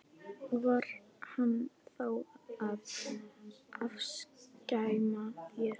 Og var hann þá að afskræma þær?